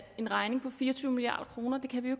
en regning på fire og tyve milliard kroner det kan vi